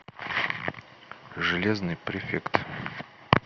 железный префект